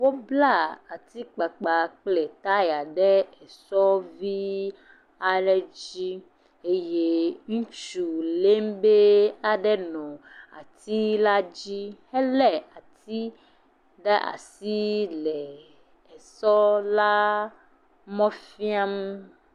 Wobla atikpakpa kple taya ɖe esɔvii aɖe dzi eye ŋutsu lémbee aɖe nɔ atila dzi helé ati ɖe asiii lee esɔɔlaa mɔ fiam.